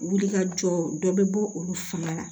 Wulikajɔ dɔ bɛ bɔ olu fana la